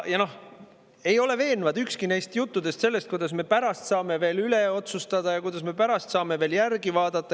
Ei ole veenev ükski neist juttudest, kuidas me pärast saame veel üle vaadata, uuesti otsustada ja kuidas me pärast saame veel järele mõelda.